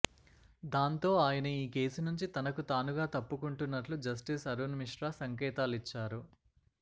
దాంతో ఆయన ఈ కేసు నుంచి తనకు తానుగా తప్పుకుంటున్నట్లు జస్టిస్ అరుణ్ మిశ్రా సంకేతాలిచ్చారు